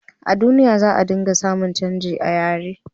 a duniya, za a ringa samun canji a yare